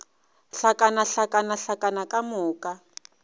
hlakana hlakana hlakana ka moka